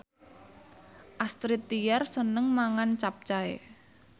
Astrid Tiar seneng mangan capcay